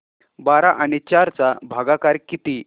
बारा आणि चार चा भागाकर किती